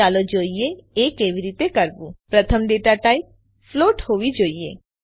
ચાલો જોઈએ એ કેવી રીતે કરવું પ્રથમ ડેટા ટાઇપ ફ્લોટ હોવી જોઈએ